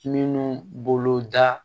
Minnu bolo da